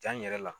Ja in yɛrɛ la